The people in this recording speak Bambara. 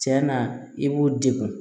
Tiɲɛ na i b'u degun